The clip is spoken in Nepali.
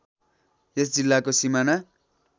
यस जिल्लाको सिमाना